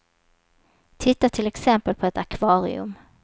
Titta till exempel på ett akvarium.